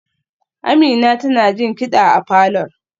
Amina tana jin kida a falor